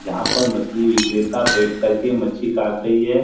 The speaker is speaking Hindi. जहां पर मछली विक्रता बैठ करके मछली काट रहाी है।